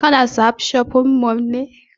Ka na sahad shopping mall ne?